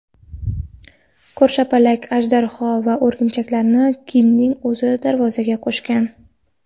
Ko‘rshapalak, ajdarho va o‘rgimchaklarni Kingning o‘zi darvozaga qo‘shgan.